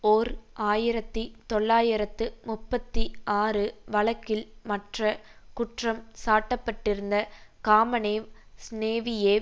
ஓர் ஆயிரத்தி தொள்ளாயிரத்து முப்பத்தி ஆறு வழக்கில் மற்ற குற்றம் சாட்ட பட்டிருந்த காமனேவ் சினேவியேவ்